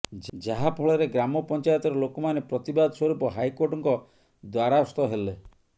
ଯାହା ଫଳରେ ଗ୍ରାମ ପଂଚାୟତର ଲୋକମାନେ ପ୍ରତିବାଦ ସ୍ୱରୁପ ହାଇକୋର୍ଟଙ୍କ ଦ୍ବାରାସ୍ତ ହେଲେ